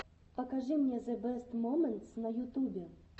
покажи мне зэ бэст моментс на ютубе